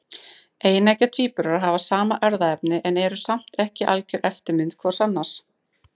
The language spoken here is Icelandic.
Eineggja tvíburar hafa sama erfðaefnið en eru samt ekki algjör eftirmynd hvors annars.